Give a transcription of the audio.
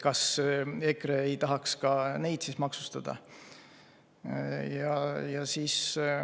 Kas EKRE ei tahaks ka neid maksustada?